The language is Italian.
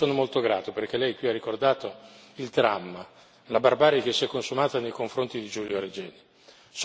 Io le sono molto grato, perché lei qui ha ricordato il dramma, la barbarie che si è consumata nei confronti di Giulio Regeni.